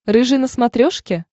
рыжий на смотрешке